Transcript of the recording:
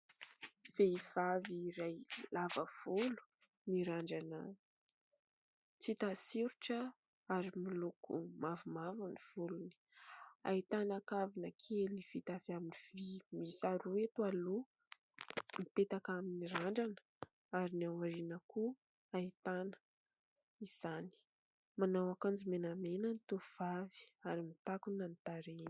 Vehivavy iray lava volo, mirandrana tsy hita soritra ary miloko mavomavo ny volony. Ahitana kavina kely vita avy amin'ny vy miisa roa eto aloha mipetaka amin'ny randrana ary ny ao aoriana koa ahitana izany. Manao akanjo menamena ny tovovavy ary mitakona ny tarehy.